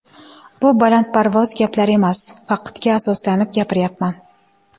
Bu balandparvoz gaplar emas, faktga asoslanib gapiryapman.